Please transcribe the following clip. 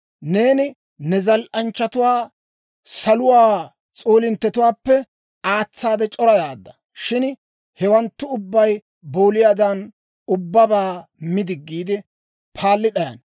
Neeni ne zal"anchchatuwaa saluwaa s'oolinttetuwaappe aatsaade c'orayaadda. Shin hewanttu ubbay booliyaadan ubbabaa mi diggiide, paalli d'ayana.